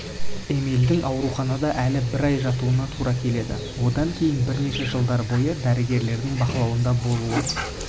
эмильдің ауруханада әлі бір айдай жатуына тура келеді одан кейін бірнеше жылдар бойы дәрігерлердің бақылауында болуы